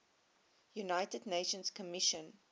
united nations commission